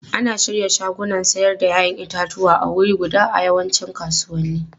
Ana shirya shagunan sayar da 'ya'yan itatuwa a wuri guda a yawancin kasuwanni.